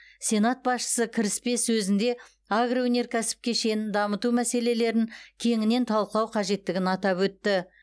сенат басшысы кіріспе сөзінде агроөнеркәсіп кешенін дамыту мәселелерін кеңінен талқылау қажеттігін атап өтті